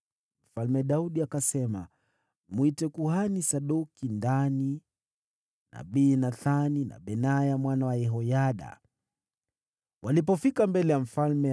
Mfalme Daudi akasema, “Mwite kuhani Sadoki ndani, nabii Nathani na Benaya mwana wa Yehoyada.” Walipofika mbele ya mfalme,